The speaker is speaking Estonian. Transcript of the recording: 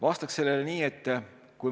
Vastaksin nii.